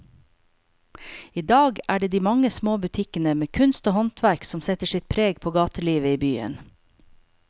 I dag er det de mange små butikkene med kunst og håndverk som setter sitt preg på gatelivet i byen.